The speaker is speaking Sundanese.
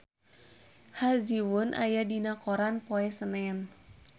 Ha Ji Won aya dina koran poe Senen